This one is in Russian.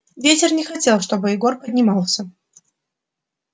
ветер не хотел чтобы егор поднимался